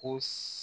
Ko